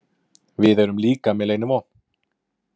Við erum líka með leynivopn.